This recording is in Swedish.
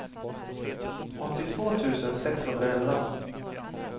åttiotvå tusen sexhundraelva